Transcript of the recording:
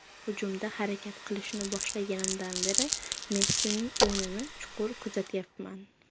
Hujumda harakat qilishni boshlaganimdan beri Messining o‘yinini chuqur kuzatyapman.